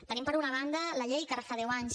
tenim per una banda la llei que ara fa deu anys